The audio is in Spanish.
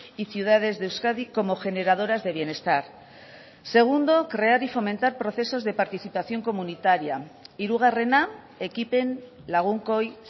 y ciudades de euskadi como generadoras de bienestar segundo crear y fomentar procesos de participación comunitaria hirugarrena ekipen lagunkoi